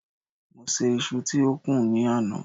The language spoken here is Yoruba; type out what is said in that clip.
mo se iṣu ti o kún ni àná